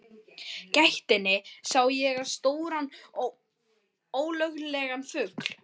gættinni sá ég stóran ólögulegan fugl.